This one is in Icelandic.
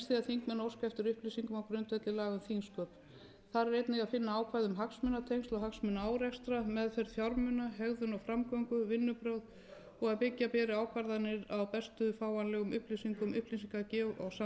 um þingsköp þar er einnig að finna ákvæði um hagsmunatengsl og hagsmunaárekstra meðferð fjármuna hegðun og framgöngu vinnubrögð og að byggja beri ákvarðanir á bestu fáanlegum upplýsingum upplýsingagjöf og samskiptum við samstarfsfólk